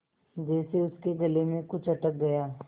जैसे उसके गले में कुछ अटक गया